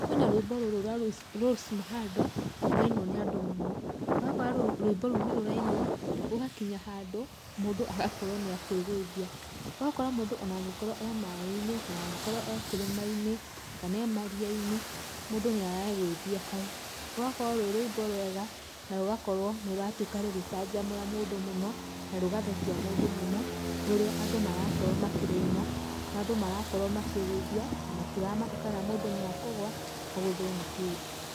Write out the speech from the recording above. Kwĩna rwĩmbo rũrũ rwa Rose Muhando rũrainwo nĩ andũ mũno, ũgakora rwĩmbo rũu nĩ rũrainwo, ũgakinya handũ mũndũ agakorwo nĩ akwĩgũithia. Ũgakora mũndũ ona angĩkorwo e maaĩ-inĩ kana angĩkorwo e kĩrĩma-inĩ kana e maria-inĩ, mũndũ nĩ aregũithia hau. Rũgakorwo rwĩ rwĩmbo rwega na rũgakorwo nĩrũratuĩka rũgĩcanjamũra mũndũ mũno, na rũgathekia mũndũ mũno nĩ ũria andũ marakorwo makĩrũina, na andũ marakorwo makĩigũithia na matiramaka kana mũndũ nĩ ekũgwa agũthwo nĩ kĩndũ.